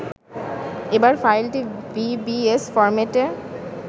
এবার ফাইলটি vbs ফরম্যাটে